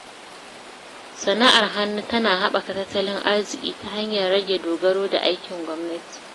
Sana’ar hannu tana haɓaka tattalin arziƙi ta hanyar rage dogaro da aikin gwamnati.